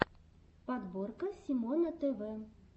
подборка симона тв